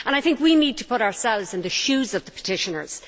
I think we need to put ourselves in the shoes of petitioners.